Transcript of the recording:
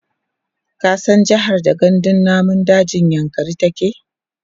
ka san jehar da gandun namun dajin yankari take?